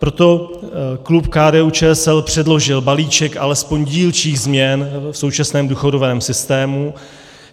Proto klub KDU-ČSL předložil balíček alespoň dílčích změn v současném důchodovém systému.